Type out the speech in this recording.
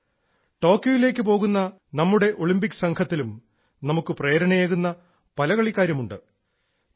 ടോക്കിയോയിലേക്ക് പോകുന്ന നമ്മുടെ ഒളിമ്പിക് സംഘത്തിലും നമുക്ക് പ്രേരണയേകുന്ന പല കളിക്കാരുമുണ്ട്